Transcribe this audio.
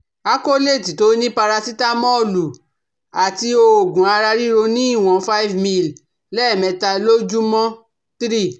Acolate tó ní parasitamọ́ònù àti òògùn ara ríro ní ìwọ̀n five ml lẹ́ẹ̀mẹta lójúmọ́ three